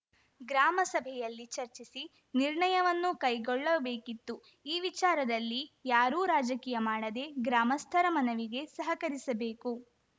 ಗ್ರಾಮ ಸಭೆಯಲ್ಲಿ ಚರ್ಚಿಸಿ ನಿರ್ಣಯವನ್ನು ಕೈಗೊಳ್ಳಬೇಕಿತ್ತು ಈ ವಿಚಾರದಲ್ಲಿ ಯಾರೂ ರಾಜಕೀಯ ಮಾಡದೆ ಗ್ರಾಮಸ್ಥರ ಮನವಿಗೆ ಸಹಕರಿಸಬೇಕು